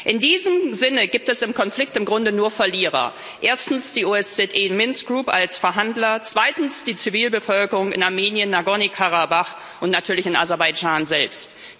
In diesem Sinne gibt es im Konflikt im Grunde nur Verlierer erstens die OSZE Minsk Group als Verhandler, zweitens die Zivilbevölkerung in Armenien, Nagorny Karabach und natürlich in Aserbaidschan selbst.